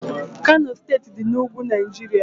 Kano steeti dị na ugwu Naijiria